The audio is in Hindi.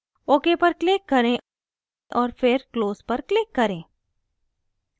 ok पर click करें और फिर close पर click करें